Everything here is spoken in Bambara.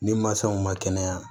Ni mansaw ma kɛnɛya